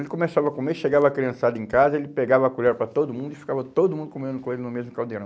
Ele começava a comer, chegava a criançada em casa, ele pegava a colher para todo mundo e ficava todo mundo comendo com ele no mesmo caldeirão.